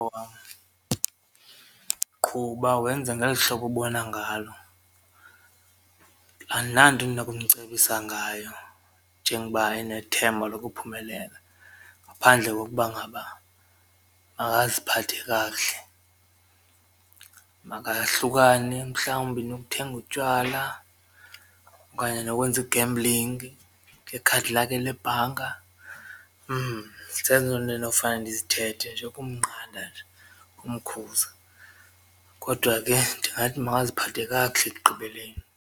Owam, qhuba wenze ngeli hlobo ubona ngalo andinanto endinokumcebisa ngayo njengoba enethemba lokuphumelela ngaphandle kokuba ngaba makaziphathe kakuhle, makahlukane mhlawumbi nokuthenga utywala okanye nokwenza i-gambling ngekhadi lakhe lebhanka zezo nto endinofane ndizithethe nje kumnqanda nje kumkhuza. Kodwa ke ndingathi makaziphathe kakuhle ekugqibeleni.